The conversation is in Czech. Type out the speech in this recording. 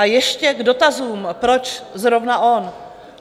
A ještě k dotazům, proč zrovna on?